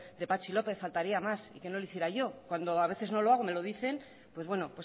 de patxi lópez faltaría más que no lo hiciera yo cuando a veces no lo hago me lo dicen pues bueno